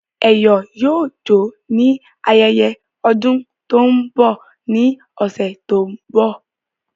Eyo yoo jo ni ayeye odun to n bọ ni ọsẹ to n bọ